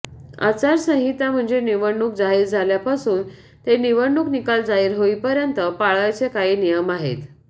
आचारसंहिता म्हणजे निवडणूक जाहीर झाल्यापासून ते निवडणूक निकाल जाहीर होईपर्यंत पाळावयाचे काही नियम आहेत